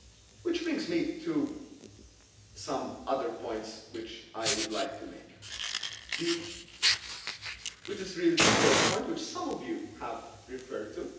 it. Which brings me to some other points which I would like to make, which is really the third point, which some of you have referred